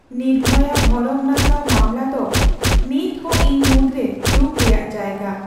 ᱱᱤᱨᱵᱷᱚᱭᱟ ᱵᱷᱚᱨᱚᱢ ᱱᱟᱥᱟᱣ ᱢᱟᱢᱞᱟ ᱫᱚ ᱱᱤᱛᱦᱚᱸ ᱤᱧ ᱢᱩᱫᱽᱨᱮ ᱫᱩᱠᱷ ᱨᱮᱭᱟᱜ ᱡᱟᱭᱜᱟ ᱾